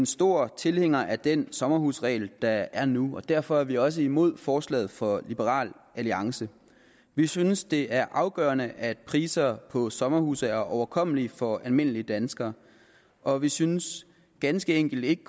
store tilhængere af den sommerhusregel der er nu og derfor er vi også imod forslaget fra liberal alliance vi synes det er afgørende at priser på sommerhuse er overkommelige for almindelige danskere og vi synes ganske enkelt ikke